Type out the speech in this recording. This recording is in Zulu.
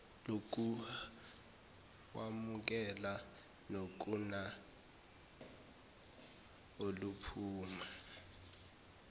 lokuhwamuka nokuna oluphuma